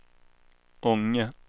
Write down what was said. Ånge